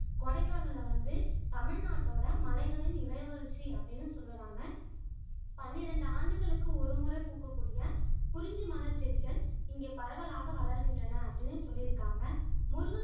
கொடைக்கானல வந்து தமிழ்நாட்டோட மலைகளின் இளவரசி அப்படின்னு சொல்லுறாங்க பன்னிரெண்டு ஆண்டுகளுக்கு ஒருமுறை பூக்கக் கூடிய குறிஞ்சி மலர் செடிகள் இங்க பரவலாக வளர்கின்றன அப்படின்னு சொல்லிருக்காங்க முருகன்